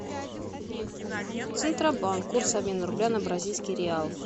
центробанк курс обмена рубля на бразильский реал